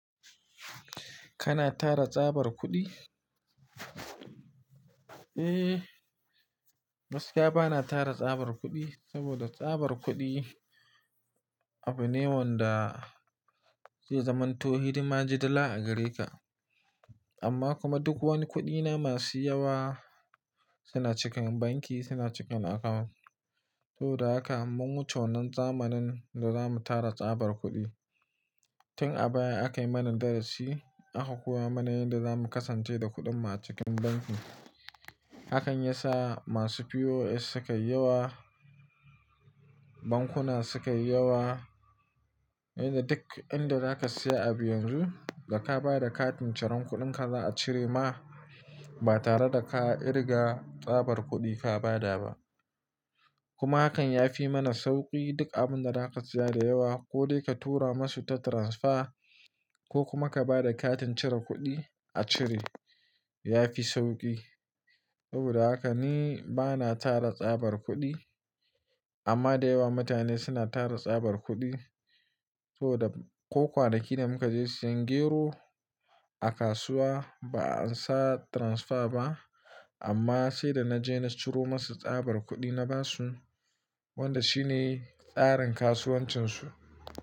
Kana tara tsabar kuɗi? Eh, gaskiya bana tara tsabar kuɗi saboda tsabar kuɗi abu ne wanda zai zamanto hidima jidila a gare ka. Amma kuma duk wani kuɗina masu yawa suna cikin banki, suna cikin account. Saboda haka mun wuce wannan zamanin da zamu tara tsabar kuɗi. Tin a baya akayi mana darasi, aka koya mana yadda zamu kasance da kuɗinmu a cikin banki. Hakan yasa masu POS suka yi yawa, bankuna suka yi yawa. Yanda duk inda zaka siya abu yanzu, da ka ba da katin ciran kuɗinka za a cire ma, ba tare da ka irga tsabar kuɗi ka ba da ba. Kuma hakan ya fi mana sauƙi duk abun da zaka siya da yawa ko dai ka tura masu ta transfer ko kuma ka ba da katin cire kuɗi a cire, ya fi sauƙi. Saboda haka ni bana tara tsabar kuɗi, amma da yawa mutane suna tara tsabar kuɗi. Saboda ko kwanaki da muka je siyan gero a kasuwa ba an sa transfer ba, amma sai da na je na ciro masu tsabar kuɗi na ba su, wanda shi ne tsarin kasuwancinsu.